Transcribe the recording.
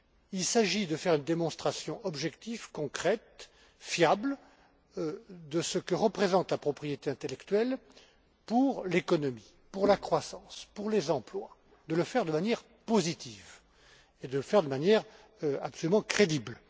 Il s'agit de faire une démonstration objective, concrète, fiable, de ce que représente la propriété intellectuelle pour l'économie, pour la croissance, pour les emplois, de le faire de manière positive et de le faire de manière absolument crédible.